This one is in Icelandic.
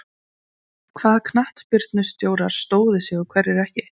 Hvaða knattspyrnustjórar stóðu sig og hverjir ekki?